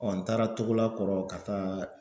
n taara Togola kɔrɔ ka taa